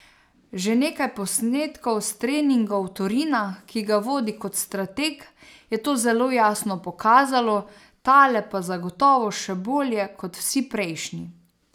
Že nekaj posnetkov s treningov Torina, ki ga vodi kot strateg, je to zelo jasno pokazalo, tale pa zagotovo še bolje kot vsi prejšnji.